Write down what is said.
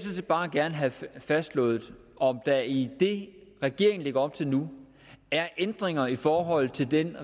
set bare gerne have fastslået om der i det regeringen lægger op til nu er ændringer i forhold til den